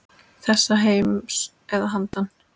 Þessa heims eða að handan.